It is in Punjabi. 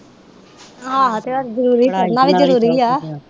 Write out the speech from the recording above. ਆਹ ਤੇ ਜਰੂਰੀ ਉਹਦੇ ਨਾਲੋਂ ਵੀ ਜਰੂਰੀ ਆ